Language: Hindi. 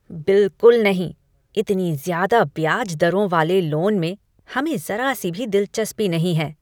बिल्कुल नहीं! इतनी ज़्यादा ब्याज दरों वाले लोन में हमें ज़रा सी भी दिलचस्पी नहीं है।